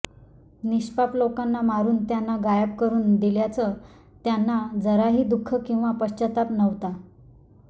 निष्पाप लोकांना मारून त्यांना गायब करून दिल्याचं त्यांना जराही दुःख किंवा पश्चाताप नव्हता